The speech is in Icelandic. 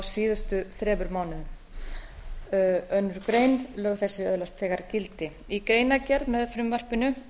síðustu þremur mánuðum annarri grein lög þessi öðlast þegar gildi í greinargerð með frumvarpinu